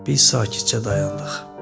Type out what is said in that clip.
Biz sakitcə dayandıq.